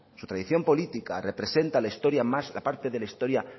su tradición política representa la historia más aparte de la historia